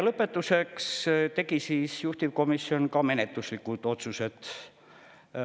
Lõpetuseks tegi juhtivkomisjon menetluslikud otsused.